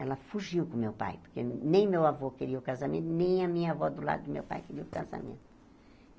Ela fugiu com meu pai, porque nem meu avô queria o casamento, nem a minha avó do lado do meu pai queria o casamento.